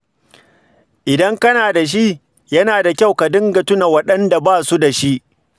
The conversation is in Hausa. Idan kana da shi, yana da kyau ka dinga tuna waɗanda ba su da shi.